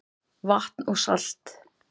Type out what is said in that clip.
Vatn og salt